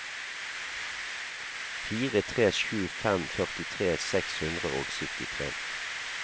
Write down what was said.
fire tre sju fem førtitre seks hundre og syttitre